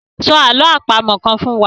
Sọ àlọ́ àpamọ̀ kan fún wa.